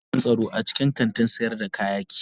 Akwai jami'an tsaro a cikin kantin sayar da kayaki.